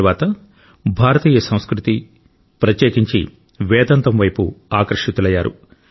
తరువాత భారతీయ సంస్కృతి ప్రత్యేకించి వేదాంతం వైపు ఆకర్షితులయ్యారు